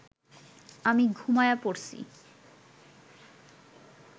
আমি ঘুমায়া পড়সি